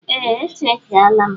Ee, e chekiela m.